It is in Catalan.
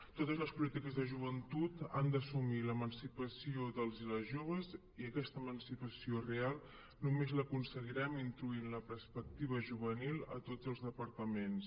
totes les polítiques de joventut han d’assumir l’emancipació dels i les joves i aquesta emancipació real només l’aconseguirem introduint la perspectiva juvenil a tots els departaments